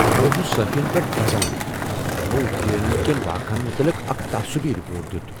بہٕ اوسُس صحافِین پیٹھ دزان یمو جے این یوٗ كین واقعہن متعلق اكھ تعصبی رپورٹ دیُت